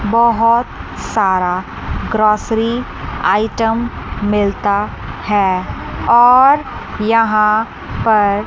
बहोत सारा grocery item मिलता हैं और यहां पर